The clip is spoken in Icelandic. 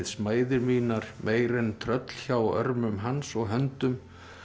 smæðir mínar meir en tröll hjá örmum hans og höndum